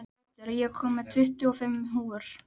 Otur, ég kom með tuttugu og fimm húfur!